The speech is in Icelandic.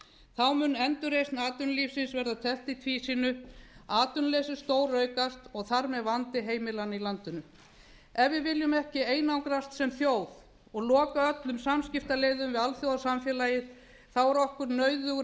þá mun endurreisn atvinnulífsins verða teflt í tvísýnu atvinnuleysi stóraukast og þar með vandi heimilanna í landinu ef við viljum ekki einangrast sem þjóð og loka öllum samskiptaleiðum við alþjóðasamfélagið er okkur nauðugur